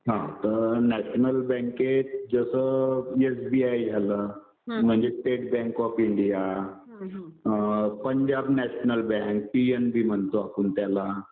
हा तर नॅशनल बँकेत जसं एसबीआय झालं म्हणजे state bank of India, Punjab national bank PNB म्हणतो आपण त्याला